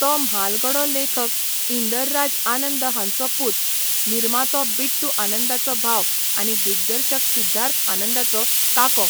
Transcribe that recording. तो म्हालगडो लेखक इंदरराज आनंद हांचो पूत, निर्मातो बिट्टू आनंदाचो भाव आनी दिग्दर्शक सिद्धार्थ आनंदाचो काको.